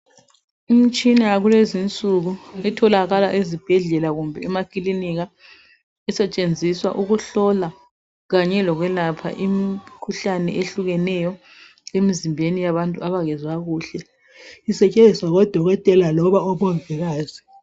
Imitshina yakulezi insuku etholakala ezibhedlela kumbe emakilinika isetshenziswa ukuhlola kanye lokwelapha imikhuhlane ehlukeneyo emzimbeni yabantu abangezwa kuhle, isetshenziswa ngodokotela loba omongikazi.